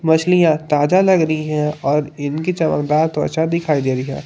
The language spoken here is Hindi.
मछलियां ताजा लग रही है और इनकी चमकदार त्वचा दिखाई दे रही है।